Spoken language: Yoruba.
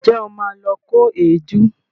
Ǹjẹ́ o ma lọ kó èédú?